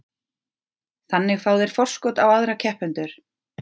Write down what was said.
Þannig fá þeir forskot á aðra keppendur.